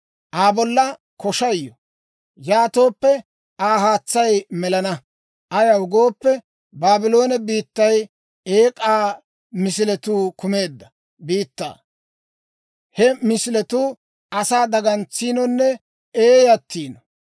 «Aa bolla koshay yo! Yaatooppe Aa haatsay melana. Ayaw gooppe, Baabloone biittay eek'aa misiletuu kumeedda biittaa; he misiletuu asaa dagantsiinonne eeyyayiino.